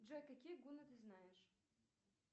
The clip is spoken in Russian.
джой какие гунны ты знаешь